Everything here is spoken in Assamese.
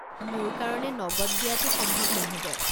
মোৰ কাৰণে নগদ দিয়াটো সম্ভৱ নহ'ব।